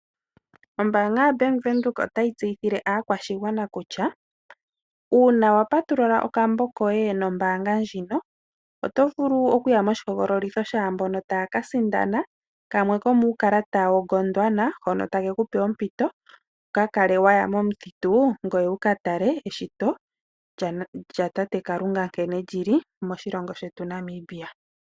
Ombaanga yaBank Windhoek otayi tseyithile aakwashigwana kutya uuna wa patulula okambo koye nombaanga ndjino, oto vulu oku ya moshihogololitho shaa mbono taya ka sindana kamwe komuukalata woGondwana hono take ku pe ompito wu ka kale waya momuthitu, ngoye wu ka tale eshito lyatate Kalunga, nkene li li moshilongo shetu Namibia.